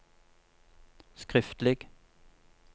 skriftlig